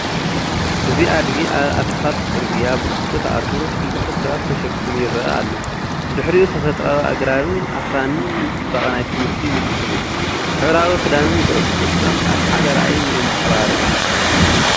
እዚ ኣድጊ ኣብ ኣስፋልት ጽርግያ ብግቡእ ተኣሲሩ፡ ክልተ ሰባት ተሰኪሙ ይረአ ኣሎ። ድሕሪኡ፡ ተፈጥሮኣዊ ኣግራብን ኣኽራንን ንጽባቐ ናይቲ ምስሊ ይውስኹ። ሕብራዊ ክዳንን ጉዕዞ ተስፋን ኣብ ሓደ ራእይ የንፀባርቁ።